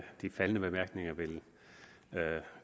de faldne bemærkninger vil